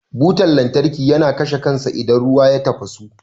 Butan lantarki yana kashe kansa idan ruwa ya tafasu.